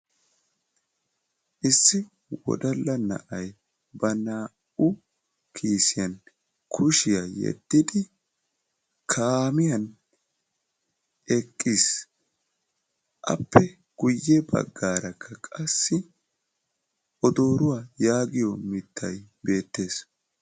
Issi wodalla na'ay ba naa"u kiisiyaan kushshiyaa yeddidi kaamiyaan eqqiis. appe guye baggaarakka qassi odooruwaa yaagiyoo mittaykka beettees.